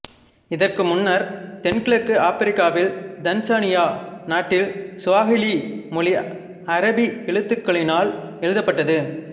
இதற்கு முன்னர்த் தென் கிழக்கு ஆப்ரிக்காவில் தன்சானியா நாட்டில் சுவாஹிலி மொழி அரபி எழுத்துக்களினாலும் எழுதப்பட்டது